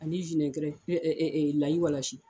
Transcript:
Ani layiwalasi.